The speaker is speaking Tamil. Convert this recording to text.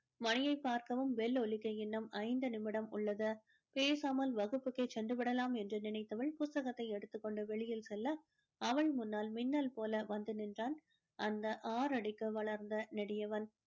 மணியை பார்க்கவும் bell ஒலிக்க இன்னும் ஐந்து நிமிடம் உள்ளது மேசாமல் வகுப்புக்கே சென்றுவிடலாம் என்று நினைத்தவள் புத்தகத்தை எடுத்துக்கொண்டு வெளியில் செல்ல அவள் முன்னால் மின்னல் போல வந்து நின்றான் அந்த ஆறடிக்கு வளர்ந்த நெடியவன்